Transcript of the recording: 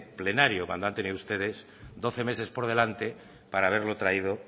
plenario cuando han tenido ustedes doce meses por delante para haberlo traído